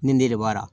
Nin de b'a la